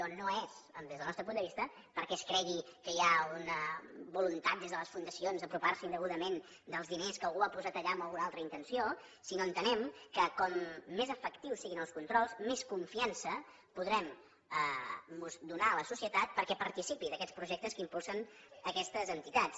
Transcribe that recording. o no és des del nostre punt de vista perquè es cregui que hi ha una voluntat des de les fundacions d’apropiar se indegudament dels diners que algú ha posat allà amb alguna altra intenció sinó que entenem que com més efectius siguin els controls més confiança podrem donar a la societat perquè participi d’aquests projectes que impulsen aquestes entitats